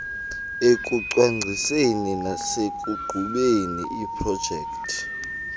ekucwangciseni nasekuqhubeni iiprojekthi